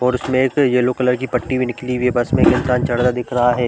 और उसमे से येलो कलर की पट्टी भी निकली हुई है बस में एक इंसान चढ़ता दिख रहा हैं ।